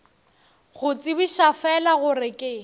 go tsebiša fela gore ke